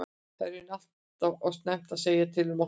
Það er í raun allt og snemmt að segja til um okkar viðbrögð.